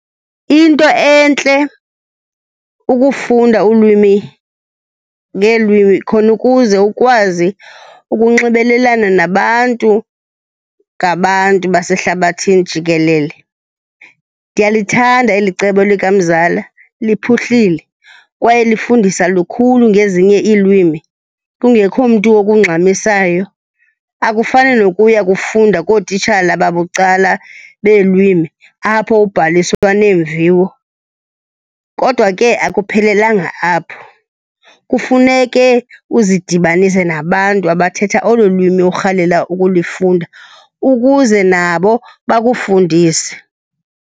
Iyinto entle ukufunda ulwimi ngeelwimi khona ukuze ukwazi ukunxibelelana nabantu ngabantu basehlabathini jikelele. Ndiyalithanda eli cebo likamzala, liphuhlile, kwaye lifundisa lukhulu ngezinye iilwimi kungekho mntu okungxamisayo. Akufani nokuya kufunda kootitshala babucala beelwimi apho ubhaliswa neemviwo. Kodwa ke akuphelelanga apho, kufuneke uzidibanise nabantu abathetha olo lwimi urhalela ukulifunda ukuze nabo bakufundise.